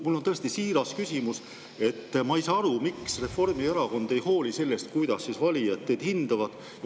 Mul on tõesti siiras küsimus: ma ei saa aru, miks Reformierakond ei hooli sellest, kuidas valijad teid hindavad?